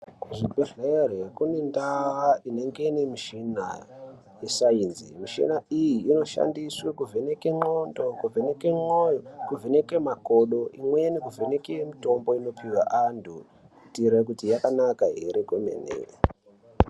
Kuzvibhedhlera kune ndaa inenge ine mishina yesayinzi, mishina iyi inoshandiswa kuvheneke ndxondo, kuvheneke mwoyo, kuvheneke makodo inweni kuvheneke mitombo inopiwa antu kuteera kuti yakanaka here kwemene.